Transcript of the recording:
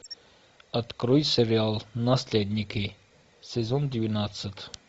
открой сериал наследники сезон двенадцать